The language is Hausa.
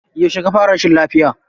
Yauce ka fara rashin lafiya?